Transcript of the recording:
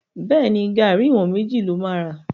Bẹ́ẹ̀ni, garri ìwọ̀n méjì ló máa ra.